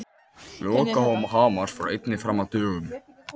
Lokahóf Hamars fór einnig fram á dögunum.